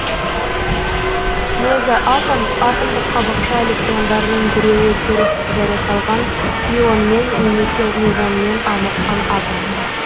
мезоатом атомдық қабықша электрондарының біреуі теріс зарядталған мюонмен немесе мезонмен алмасқан атом